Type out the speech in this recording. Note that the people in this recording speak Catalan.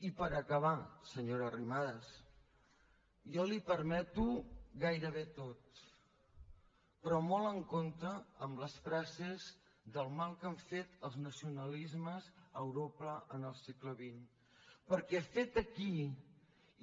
i per acabar senyora arrimadas jo li ho permeto gairebé tot però molt amb compte amb les frases del mal que han fet els nacionalismes a europa en el segle xx perquè fet aquí